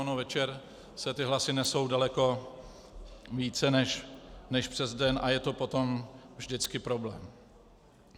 Ono večer se ty hlasy nesou daleko více než přes den a je to potom vždycky problém.